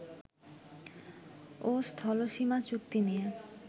ও স্থলসীমা চুক্তি নিয়ে